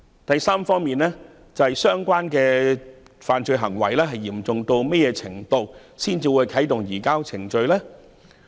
第三方面，相關的犯罪行為的嚴重須達何種程度，才會啟動移交逃犯程序？